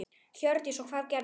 Hjördís: Og hvað gerðist?